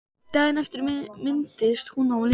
Daginn eftir minntist hún á Lindu.